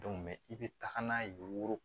i bɛ taga n'a ye wotoro